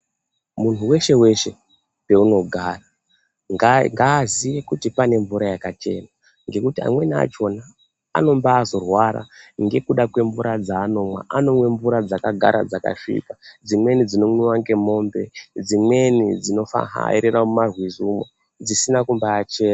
Muntu weshe weshe paunogara ngaaziye kuti pane mvura yakachena. Ngekuti amweni achona anombaazorwara ngekuda kwemvura dzanomwa. Anomwa mvura dzakagara dzakasvipa. Dzimweni dzinomwiwa ngen'ombe. Dzimweni dzinofahairira mumarwizi umo dzisina kumbaache